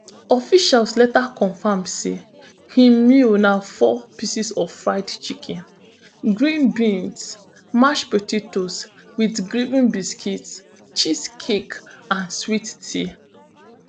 officials later confam say im meal na four pieces of fried chicken green beans mashed potatoes wit gravin biscuits cheesecake and sweet tea